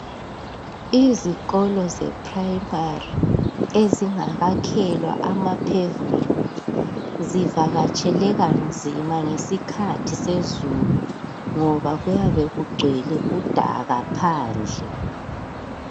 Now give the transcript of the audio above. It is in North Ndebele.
Izikolo zephrayimari ezingakakhelwa amaphevumenti zivakatsheleka nzima ngesikhathi sezulu, ngoba kuyabe kugcwele udaka phandle.